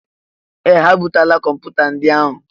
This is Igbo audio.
Ee! Ha ebutela kọmpụta ndị ahụ.